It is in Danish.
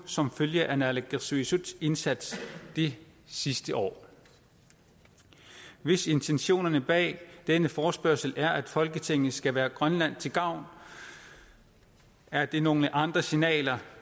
som følge af naalakkersuisuts indsats det sidste år hvis intentionerne bag denne forespørgsel er at folketinget skal være grønland til gavn er det nogle andre signaler